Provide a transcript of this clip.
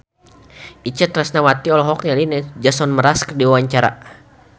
Itje Tresnawati olohok ningali Jason Mraz keur diwawancara